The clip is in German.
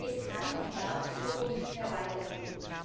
Es kann und darf so nicht mehr weitergehen.